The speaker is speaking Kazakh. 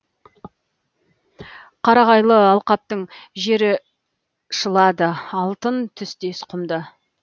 қарағайлы алқаптың жері шылады алтын түстес құмды